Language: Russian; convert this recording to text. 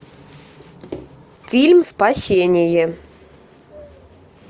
фильм спасение